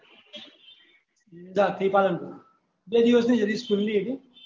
અમદાવાદ થી પલાન્પુર બે દિવસ ની જળની ખુલની હતી